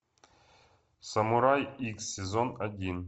самурай икс сезон один